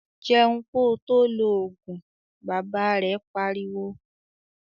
"Jẹun ko tó lọ Ògùn!",Bàbá rẹ̀ pariwo